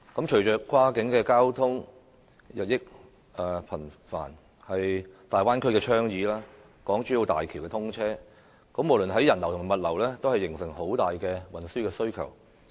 隨着跨境交通日益頻繁，例如粵港澳大灣區的倡議及港珠澳大橋的通車，無論在人流或物流方面，均會形成龐大的運輸需求。